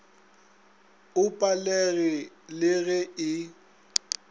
o palege le ge e